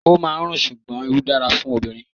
O máa ń rùn, ṣùgbọ́n Irú dára fún obìnrin.